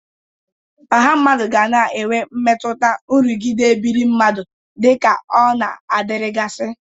Ọha mmadụ ga na-enwe mmetụta nrụgide ebiri mmadụ dịka ọ na-adịrịgasị.